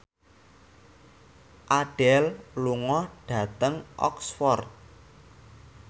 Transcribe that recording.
Adele lunga dhateng Oxford